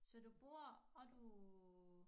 Så du bor og du